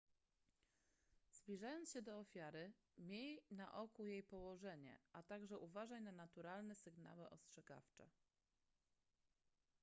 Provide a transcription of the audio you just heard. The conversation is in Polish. zbliżając się do ofiary miej na oku jej położenie a także uważaj na naturalne sygnały ostrzegawcze